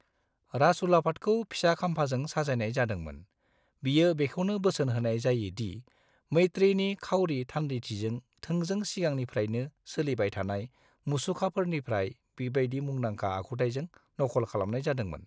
राजउलाफादखौ फिसा खाम्फाजों साजायनाय जादोंमोन, बियो बेखौनो बोसोन होनाय जायो दि मैत्रेयनि खाउरि थान्दैथिखौ थोंजों सिगांनिफ्रायनो सोलिबाय थानाय मुसुखानिफ्राय बेबायदि मुंदांखा आखुथायजों नखल खालामनाय जादोंमोन।